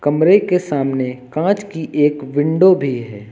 कमरे के सामने कांच की एक विंडो भी है।